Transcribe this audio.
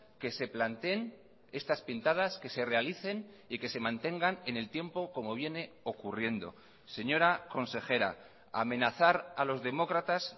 que se planteen estas pintadas que se realicen y que se mantengan en el tiempo como viene ocurriendo señora consejera amenazar a los demócratas